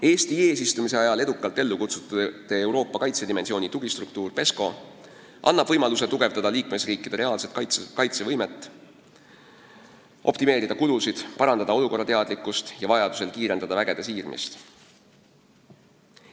Eesti eesistumise ajal edukalt ellu kutsutud Euroopa kaitsedimensiooni tugistruktuur PESCO annab võimaluse tugevdada liikmesriikide reaalset kaitsevõimet, optimeerida kulusid, parandada teadlikkust olukorrast ja vajadusel kiirendada üksuste siirmist.